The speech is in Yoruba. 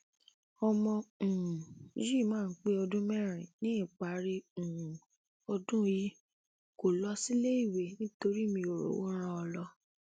ọmọ um yìí máa pé ọdún mẹrin níparí um ọdún yìí kó lọ síléèwé nítorí mi ò rówó rán an lọ